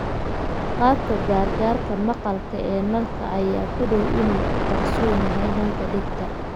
Qalabka gargaarka maqalka ee kanaalka ayaa ku dhow inuu ku qarsoon yahay kanaalka dhegta.